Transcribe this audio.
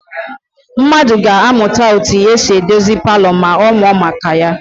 Mmadụ ga-amụta etu esi edozi palọ ma ọ mụọ maka ya.